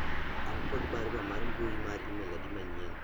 an kod barua mar mbui mar email adi manyien